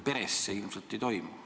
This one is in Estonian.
Peres see ilmselt ei toimu.